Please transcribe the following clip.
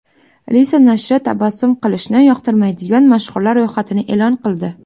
Lisa nashri tabassum qilishni yoqtirmaydigan mashhurlar ro‘yxatini e’lon qildi .